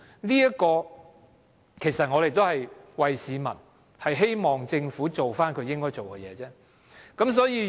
這也是我們為市民表達的意見，希望政府做應該做的事而已。